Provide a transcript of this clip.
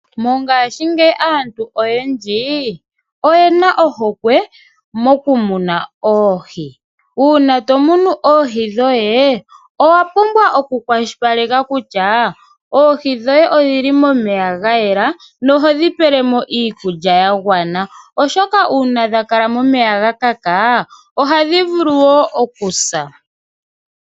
Mongaashingeyi aantu oyendji oyena ohokwe moku muna oohi. Uuna to munu oohi dhoye owa pumbwa oku kwashilipaleka kutya oohi dhoye odhili momeya ga yela nohodhi pele mo iikulya ya gwana oshoka uuna dha kala momeya ga kaka, ohadhi vulu wo okusa.